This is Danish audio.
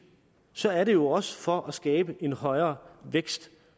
så er det jo også for at skabe en højere vækst